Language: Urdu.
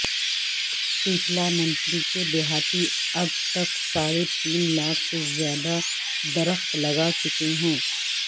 پیپلانتری کے دیہاتی اب تک ساڑھ تین لاکھ سے زیادہ درخت لگا چکے ہیں